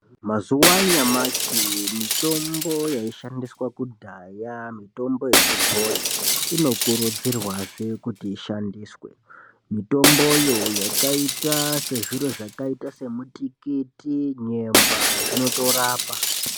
Mazuwa anyamashi mitombo yaishandiswa kudhaya mitombo yechibhoyi inokurudzirwazve kuti ishandiswe mitomboyo yakaita sezviro zvakaita semutikiti nyemba zvinotorapa.